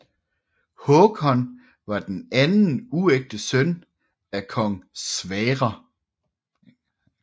Håkon var den anden uægte søn af kong Sverre